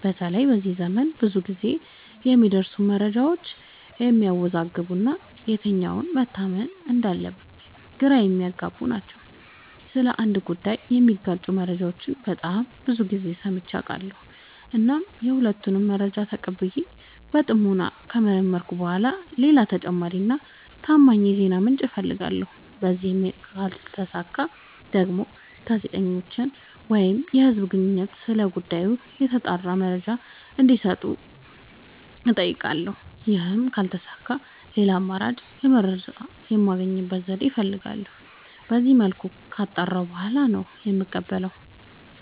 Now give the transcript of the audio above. በተለይ በዚህ ዘመን ብዙ ግዜ የሚደርሱን መረጃዎች የሚያዎዛግቡ እና የትኛው መታመን እንዳለበት ግራ የሚያገቡ ናቸው። ስለ አንድ ጉዳይ የሚጋጩ መረጃዎችን በጣም ብዙ ግዜ ሰምቼ አውቃለሁ። እናም የሁሉንም መረጃ ተቀብዬ በጥሞና ከመረመርኩኝ በኋላ ሌላ ተጨማሪ እና ታማኝ የዜና ምንጭ አፈልጋለሁ። በዚህም ካልተሳካ ደግሞ ጋዜጠኞችን ወይም የህዝብ ግንኙነቶችን ስለ ጉዳዩ የተጣራ መረጃ እንዲ ሰጡኝ አጠይቃለሁ። ይህም ካልተሳካ ሌላ አማራጭ የመረጃ የማግኛ ዘዴ እፈልጋለሁ። በዚመልኩ ካጣራሁ በኋላ ነው የምቀበለው።